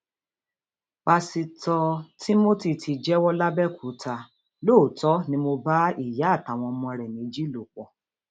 pásítọ timothy ti jẹwọ làbẹòkúta lóòótọ ni mò ń bá ìyá àtàwọn ọmọ ẹ méjì lò pọ